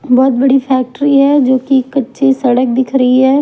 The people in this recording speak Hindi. बहुत बड़ी फैक्ट्री हैजो कि कच्ची सड़क दिख रही है।